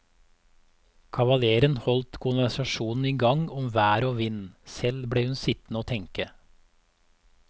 Kavaleren holdt konversasjonen i gang om vær og vind, selv ble hun sittende og tenke.